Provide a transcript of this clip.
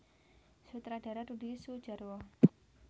Sutradara Rudi Soedjarwo